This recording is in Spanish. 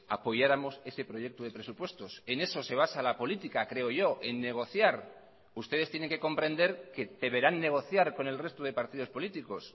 apoyáramos ese proyecto de presupuestos en eso se basa la política creo yo en negociar ustedes tienen que comprender que deberán negociar con el resto de partidos políticos